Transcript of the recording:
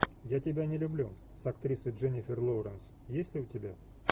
я тебя не люблю с актрисой дженнифер лоуренс есть у тебя